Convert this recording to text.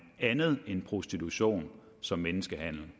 andet end prostitution som menneskehandel